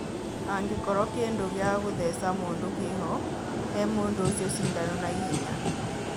Angĩkorũo kĩndũ gĩa kũtheca mũndũ kĩho, he mũndũ ũcio cindano na ihenya.